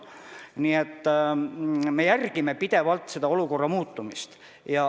Nii et me jälgime pidevalt olukorra muutumist.